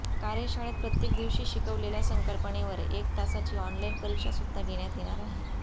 कार्यशाळेत प्रत्येक दिवशी शिकविलेल्या संकल्पनेवर एक तासाची ऑनलाईन परीक्षा सुध्दा घेण्यात येणार आहे